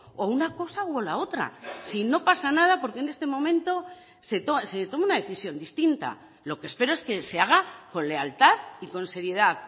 o una cosa o la otra y no pasa nada porque en este momento se tome una decisión distinta lo que espero es que se haga con lealtad y con seriedad